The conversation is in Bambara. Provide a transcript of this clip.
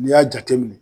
N'i y'a jateminɛ